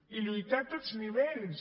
i lluitar a tots nivells